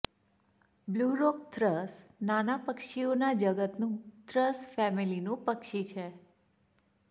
blue rock thrush નાનાં પક્ષીઓના જગતનું થ્રસ ફેમિલીનું પક્ષી છે